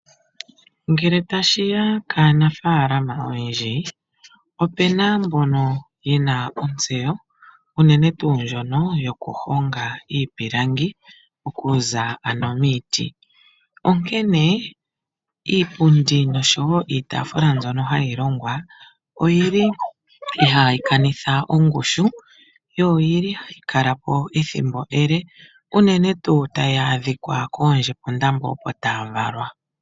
Ngele tashi ya kaanafaalama oyendji, opu na mbono ye na ontseyo unene tuu ndjono yokuhonga iipilangi okuza momiti, onkene iipundi noshowo iitaafula mbyono hayi longwa ihayi kanitha ongushu yo ohayi kala po ethimbo ele notayi vulu oku adhika koondjepunda mboka opo taya valwa.